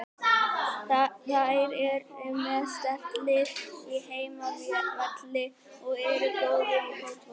Þeir eru með sterkt lið á heimavelli og eru góðir í fótbolta.